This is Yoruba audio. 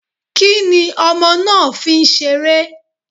Kí ni ọmọ náà fi ń seré?